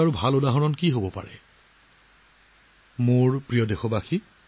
Paris অলিম্পিকৰ আৰম্ভণি নিশ্চয় অহা মাহত এনেকুৱা সময়তে আৰম্ভ হ'ব